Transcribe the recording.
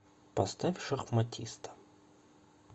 поставь шахматиста